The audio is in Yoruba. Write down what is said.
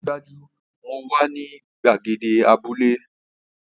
Dájúdájú! Mo wà ní gbàgede abúlé